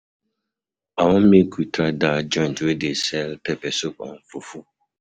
I wan make we try dat joint wey dey sell pepper soup and fufu.